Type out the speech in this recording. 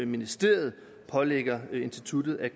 ministeriet pålægger instituttet at